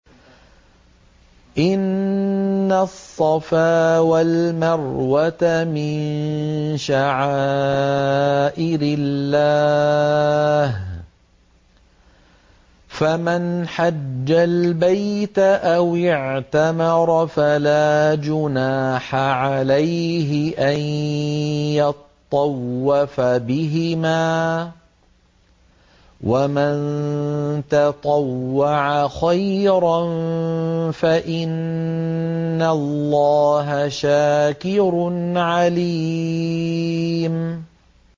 ۞ إِنَّ الصَّفَا وَالْمَرْوَةَ مِن شَعَائِرِ اللَّهِ ۖ فَمَنْ حَجَّ الْبَيْتَ أَوِ اعْتَمَرَ فَلَا جُنَاحَ عَلَيْهِ أَن يَطَّوَّفَ بِهِمَا ۚ وَمَن تَطَوَّعَ خَيْرًا فَإِنَّ اللَّهَ شَاكِرٌ عَلِيمٌ